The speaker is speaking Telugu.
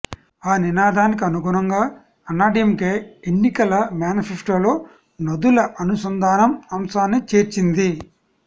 ఆ నినాదానికి అనుగుణంగా అన్నాడీఎంకే ఎన్నికల మేనిఫెస్టోలో నదుల అనుసంధానం అంశాన్ని చేర్చింది